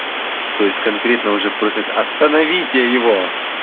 то есть конкретно уже просят остановите его